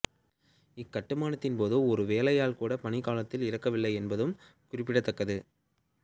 இக் கட்டுமானத்தின் போது ஒரு வேலையாள் கூட பணிக்காலத்தில் இறக்கவில்லை என்பதும் குறிப்பிடத்தக்கது